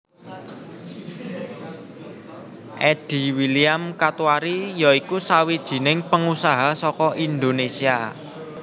Eddy William Katuari ya iku sawijining pengusaha saka Indonesia